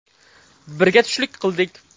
Birga tushlik qildik.